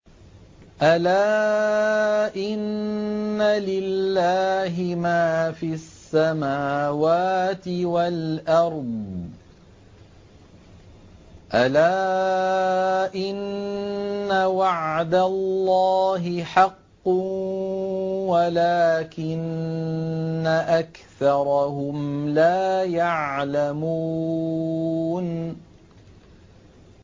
أَلَا إِنَّ لِلَّهِ مَا فِي السَّمَاوَاتِ وَالْأَرْضِ ۗ أَلَا إِنَّ وَعْدَ اللَّهِ حَقٌّ وَلَٰكِنَّ أَكْثَرَهُمْ لَا يَعْلَمُونَ